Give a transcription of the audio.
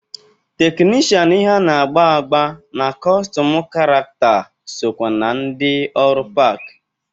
Teknishan ihe a na-agba agba na kọstum karakta sokwa na ndị ọrụ park.